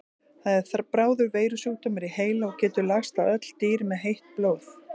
Það er bráður veirusjúkdómur í heila og getur lagst á öll dýr með heitt blóð.